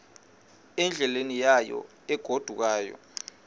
endleleni yayo egodukayo